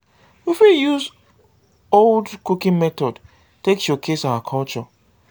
we fit use old cooking method take showcase our culture